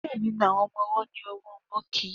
Diẹ ninu awọn ọmọ-ọwọ ni awọn ọwọ chubby.